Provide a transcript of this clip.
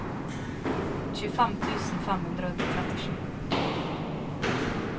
tjuefem tusen fem hundre og trettisju